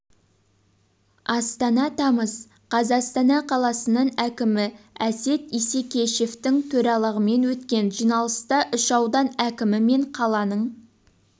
астана тамыз қаз астана қаласының әкімі әсет исекешевтің төрағалығымен өткен жиналыста үш аудан әкімі мен қаланың